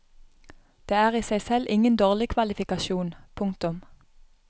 Det er i seg selv ingen dårlig kvalifikasjon. punktum